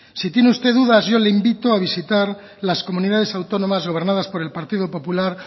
si tiene usted dudas yo le invito a visitar las comunidades autónomas gobernadas por el partido popular